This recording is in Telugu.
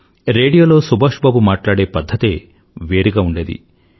రేడియోలో సుభాష్ బాబు మాట్లాడే పధ్ధతే వేరుగా ఉండేది